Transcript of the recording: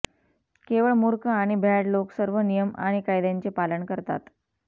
केवळ मूर्ख आणि भ्याड लोक सर्व नियम आणि कायद्यांचे पालन करतात